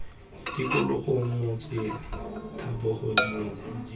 tikologo motse dithaba dinoka jj